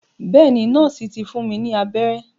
Bẹ́ẹ̀ ni, nọ́ọ̀sì ti fún mi ní abẹ́rẹ́.